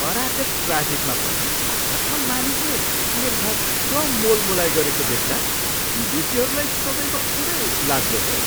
अराजक ट्राफिकमा पनि भारतमा मानिसले निर्धक्क मोलमोलाई गरेको देख्दा विदेशीहरूलाई सदैव उदेक लाग्दो हो।